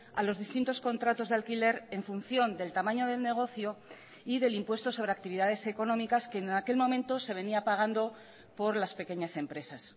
a los distintos contratos de alquiler en función del tamaño del negocio y del impuesto sobre actividades económicas que en aquel momento se venía pagando por las pequeñas empresas